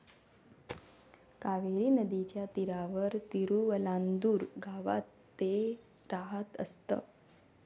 कावेरी नदीच्या तीरावर तिरुवलांदूर गावात ते राहत असत.